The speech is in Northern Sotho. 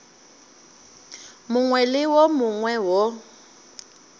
mongwe le wo mongwe wo